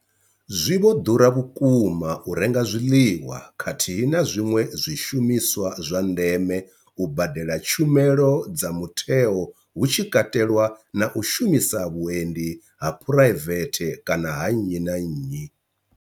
Zwi vho ḓura vhukuma u renga zwiḽiwa khathihi na zwiṅwe zwishumiswa zwa ndeme, u badela tshumelo dza mutheo hu tshi katelwa na u shumisa vhuendi ha phuraivethe kana ha nnyi na nnyi.